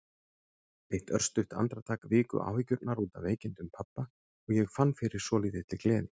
Eitt örstutt andartak viku áhyggjurnar út af veikindum pabba og ég fann fyrir svolítilli gleði.